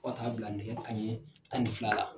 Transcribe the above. Fɔ ka taa bila nɛgɛ kanɲɛ tan ni fila la.